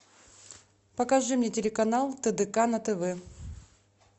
покажи мне телеканал тдк на тв